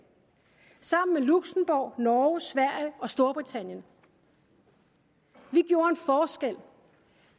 sammen med luxembourg norge sverige og storbritannien vi gjorde en forskel